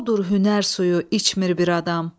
Odur hünər suyu içmir bir adam.